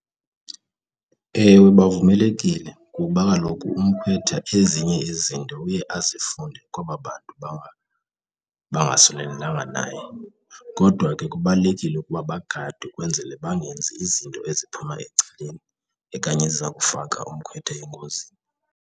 Ewe, bavumelekile ngokuba kaloku umkhwetha ezinye ezinto uye azifundise kwaba bantu bangasondelelanga naye, kodwa ke kubalulekile ukuba bagadwe kwenzele bangenzi izinto eziphuma ecaleni okanye eziza kufaka umkhwetha engozini.